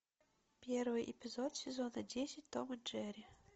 первый эпизод сезона десять том и джери